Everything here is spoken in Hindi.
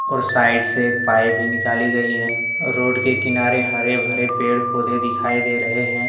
और साइड से एक पाइप भी निकाली गई है रोड के किनारे हरे-भरे पेड़ पौधे दिखाई दे रहे हैं।